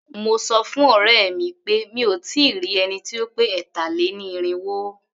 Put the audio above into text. Mo sọ fún ọ̀rẹ́ mi pé mí ò tí ì rí ẹni tí ó pé ẹ̀tà-lé-ní-irínwó.